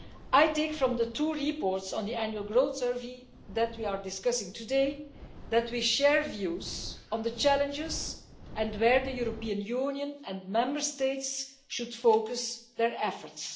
I take from the two reports on the Annual Growth Survey which we are discussing today, that we share views on the challenges and where the European Union and Member States should focus their efforts.